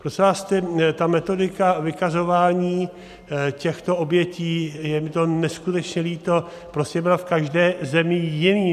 Prosím vás, ta metodika vykazování těchto obětí, je mi to neskutečně líto, prostě byla v každé zemi jiná.